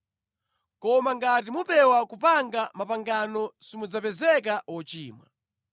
Koma ngati mupewa kupanga mapangano simudzapezeka ochimwa.